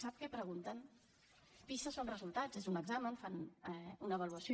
sap què pregunten pisa són resultats és un examen fan una avaluació